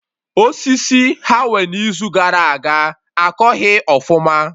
Osisi ha nwee na Izu gara aga akọghị ọfụma